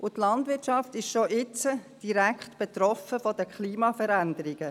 Die Landwirtschaft ist schon jetzt von der Klimaveränderung betroffen.